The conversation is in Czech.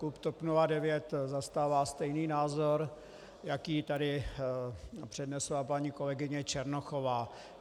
Klub TOP 09 zastává stejný názor, jaký tady přednesla paní kolegyně Černochová.